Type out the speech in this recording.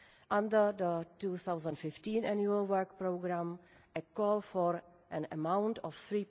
Under the 2015 Annual Work Programme, a call for an amount of